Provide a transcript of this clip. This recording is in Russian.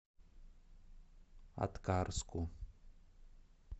аткарску